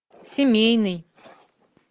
семейный